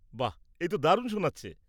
বাহ...এ তো দারুণ শোনাচ্ছে!